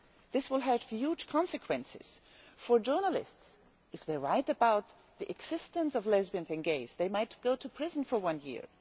This will have huge consequences for journalists if they write about the existence of lesbians and gays they might go to prison for one year